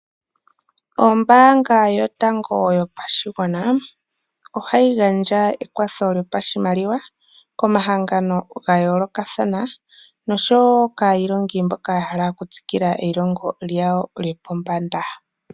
Ombaanga yotango yopashigwana ohayi gandja ekwatho lyopashimaliwa komahangano ga yoolokathana. Nosho woo kayilongi mboka yahala oku tsikila lyopombana.